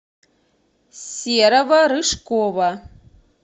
серого рыжкова